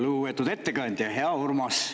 Lugupeetud ettekandja, hea Urmas!